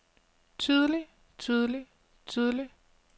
tidlig tidlig tidlig